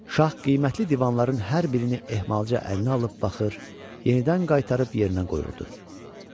Şah qiymətli divanların hər birini ehmalca əlinə alıb baxır, yenidən qaytarıb yerinə qoyurdu.